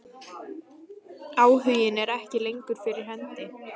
Áhuginn er ekki lengur fyrir hendi.